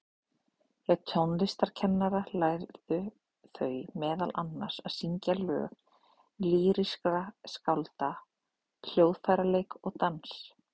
Hjá tónlistarkennara lærðu þau meðal annars að syngja lög lýrískra skálda, hljóðfæraleik og dans.